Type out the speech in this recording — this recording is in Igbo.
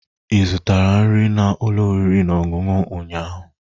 Ị zụtara nri na ụlọ oriri na ọṅụṅụ ụnyaahụ?